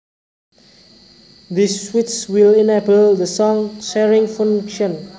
This switch will enable the song sharing function